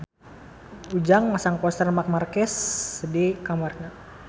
Ujang masang poster Marc Marquez di kamarna